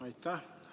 Aitäh!